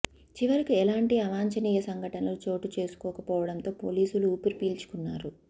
చివరకు ఎలాంటి అవాంఛనీయ సంఘటనలు చోటు చేసుకోకపోవడంతో పోలీసులు ఊపిరి పీల్చుకున్నారు